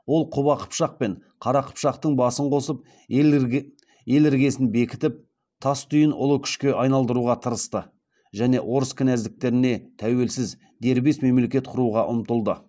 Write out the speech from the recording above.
ол құба қыпшақ пен қара қыпшақтың басын қосып ел іргесін бекітіп тастүйін ұлы күшке айналдыруға тырысты және орыс кінәздіктеріне тәуелсіз дербес мемлекет құруға ұмтылды